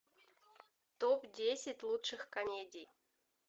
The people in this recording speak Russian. топ десять лучших комедий